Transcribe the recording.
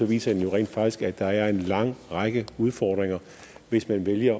viser den jo rent faktisk at der er en lang række udfordringer hvis man vælger